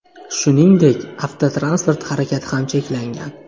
Shuningdek, avtotransport harakati ham cheklangan .